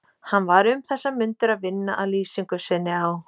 Hann var um þessar mundir að vinna að lýsingu sinni á